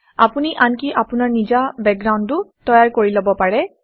আপুনি আনকি আপোনাৰ নিজা বেকগ্ৰাউণ্ডো তৈয়াৰ কৰি লব পাৰে